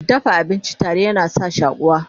dafa abinci tare yana sa shakuwa